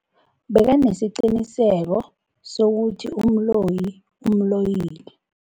Bekanesiqiniseko sokuthi umloyi umloyile.